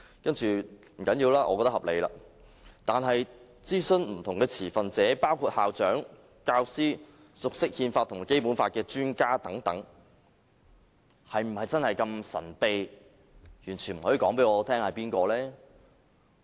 不要緊，我認為是合理的，但諮詢不同的持份者，包括校長、教師、熟悉憲法和《基本法》的專家等，則是否真的如此神秘，完全不能告訴我們諮詢了誰呢？